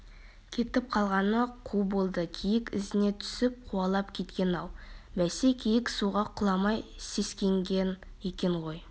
кетіп қалған қу болды киік ізіне түсіп қуалап кеткен-ау бәсе киік суға құламай сескенген екен ғой